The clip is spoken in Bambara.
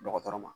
Dɔgɔtɔrɔ ma